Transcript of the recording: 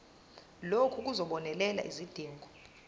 lokhu kuzobonelela izidingo